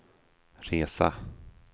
resa